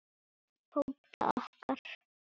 Tóta okkar.